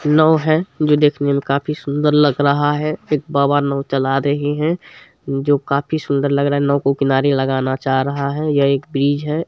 नाव है जो देखने मे काफी सुंदर लग रहा है एक बाबा नाव चला रहे है जो काफी सुंदर लग रहा है नाव को किनारे लगाना चाह रहा है ये एक ब्रिज है।